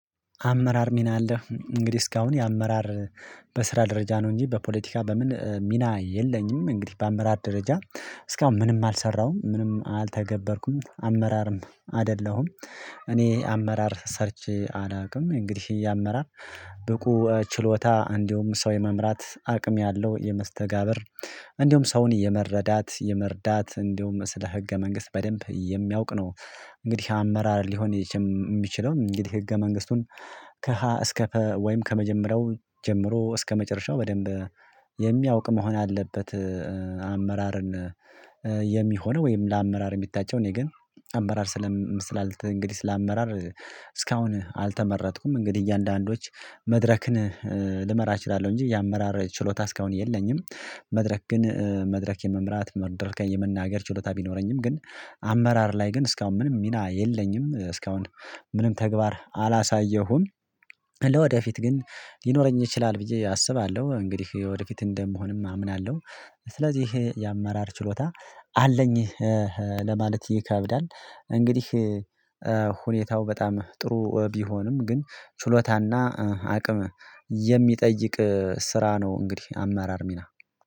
አመራር ሚና አለ እንግዲህ እስካሁን የአመራር በስራ ደረጃ ነው። እንጂ በፖለቲካ በምን ሚና የለኝም እንግዲህ በአመራር ደረጃ እስካሁን ምንም አልሰራሁም ምንም አልተገበርኩም አመራርም አይደለሁም። እኔ አመራር ሰርቼ አላውቅም እንግዲህ የአመራር ብቁ ችሎታ እንዲሁም ሰው የመምራት አቅም ያለው የመስተጋብር እንዲሁም ሰውን የመረዳት የመርዳት እንዲሁም ስለ ህገ መንግስት በደንብ የሚያውቅ ነው። እንግዲህ አመራር ሊሆን የሚችለው እንግዲህ ህገ መንግስቱን ከሀ እስከ ፐ ወይም ከመጀመሪያው ጀምሮ እስከመጨረሻው በደንብ የሚያውቅ መሆን አለበት። አመራርን የሚሆነው ወይም ለአመራር የሚታቸው እኔ ግን አመራር ስላልተ እንግዲህ ስለ ለአመራር እስካሁን አልተመረጥኩም እንግዲህ እያንዳንዱች መድረክን ልመራ እችላለሁ እንጂ የ አመራር ችሎታ እስካሁን የለኝም። መድረክ ግን መድረክ የመምራት መድረከ የመናገር ችሎታ ቢኖረኝም ግን አመራር ላይ ግን እስካሁን ምንም ሚና የለኝም እስካሁን ምንም ተግባር አላሳየሁም። ለወደፊት ግን ሊኖረኝ ይችላል ብዬ አስባለሁ እንግዲህ ወደፊት እንደምሆንም አምናለሁ። ስለዚህ ይሄ የአመራር ችሎታ አለኝ ለማለት ይከብዳል እንግዲህ ሁኔታው በጣም ጥሩ ቢሆንም ግን ችሎታና አቅም የሚጠይቅ ስራ ነው። እንግዲህ አመራር ሚና